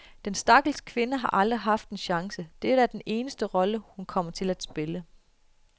Den stakkels kvinde har aldrig haft en chance, dette er den eneste rolle, hun kommer til at spille.